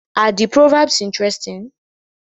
Are the proverbs interesting?